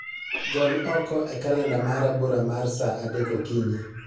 Gol oko e kalenda mara bura mar saa adek okinyi